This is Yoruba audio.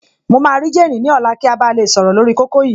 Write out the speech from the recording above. Mo máa rí jéènì ní ọ̀la kí a ba lè sọ̀rọ̀ lórí kókó yìí